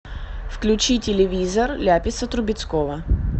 включи телевизор ляписа трубецкого